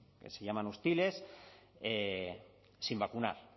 que se llaman hostiles sin vacunar